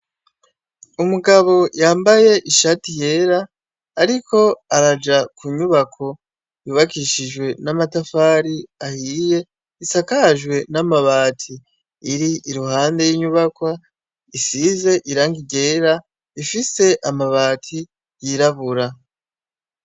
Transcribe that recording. Umugabo yambaye ishati yera, ariko araja kunyubako yubakishijwe namatafari ahiye ,isakajwe n'amabati ,iri iruhande y'inyubakwa isize irangi ryera ifise amabati yirabura